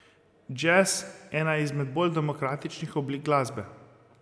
Džez ena izmed bolj demokratičnih oblik glasbe.